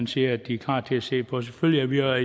siger at de er klar til at se på selvfølgelig er